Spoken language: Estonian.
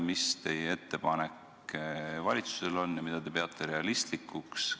Mis teie ettepanek valitsusele on ja mida te peate realistlikuks?